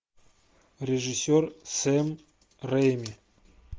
режиссер сэм рэйми